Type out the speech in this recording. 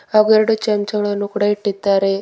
ಹಾಗು ಎರಡು ಚಮಚಗಳನ್ನು ಕೂಡ ಇಟ್ಟಿದ್ದಾರೆ.